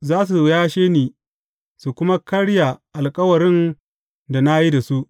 Za su yashe ni su kuma karya alkawarin da na yi da su.